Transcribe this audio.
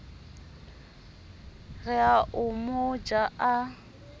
re o mo ja a